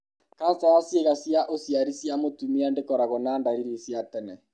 kanca ya ciĩga cia ũciari cia mũtumia ndĩkoragũo na ndariri cia tene.